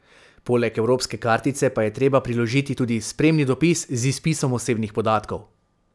Poleg evropske kartice pa je treba priložiti tudi spremni dopis z izpisom osebnih podatkov.